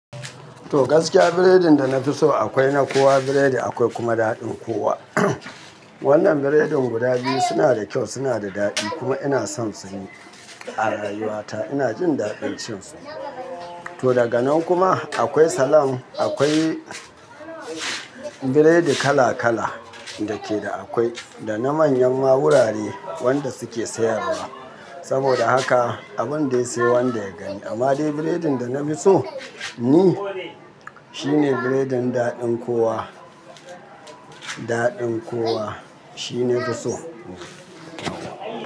To gaskiya biredin da na fi so akwai na kowa biredi akwai kuma daɗin kowa. Wannan biredin guda biyu suna da kyau suna da daɗi kuma ina son su a rayuwa ta ina jin daɗin cin su. To daga nan kuma akwai salam akwai biredi kala kala da ke da akwai. Da na manyan ma wurare wanda suke sayarwa. Saboda haka abun dai sai wanda ya gani amma dai biredin da na fi so ni shine biredin daɗin kowa, daɗin kowa shine na fi so.